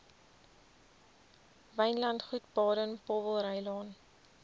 wynlandgoed baden powellrylaan